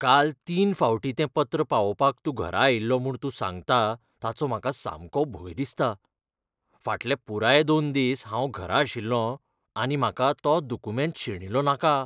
काल तीन फावटीं तें पत्र पावोवंक तूं घरा आयिल्लो म्हूण तूं सांगता ताचो म्हाका सामको भंय दिसता. फाटले पुराय दोन दीस हांव घरा आशिल्लों आनी म्हाका तो दुकुमेंत शेणिल्लो नाका.